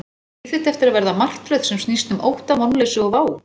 Á líf þitt eftir að verða martröð sem snýst um ótta, vonleysi og vá?